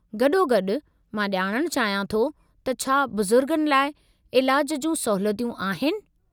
गॾोगॾु, मां ॼाणणु चाहियो थे त छा बुज़ुर्गनि लाइ इलाज जियूं सहूलियतूं आहिनि।